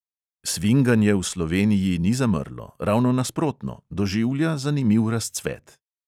Svinganje v sloveniji ni zamrlo – ravno nasprotno: doživlja zanimiv razcvet.